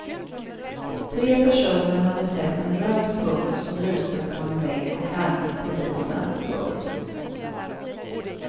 Tre personer hade sett en röd punkt som lyste på en vägg och larmat polisen. punkt